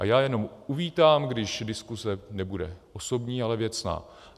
A já jenom uvítám, když diskuse nebude osobní, ale věcná.